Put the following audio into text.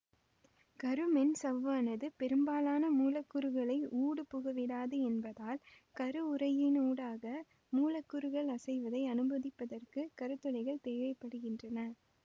கரு மென்சவ்வானது பெரும்பாலான மூலக்கூறுகளை ஊடுபுகவிடாது என்பதால் கரு உறையினூடாக மூலக்கூறுகள் அசைவதை அனுமதிப்பதற்கு கருத் துளைகள் தேவை படுகின்றன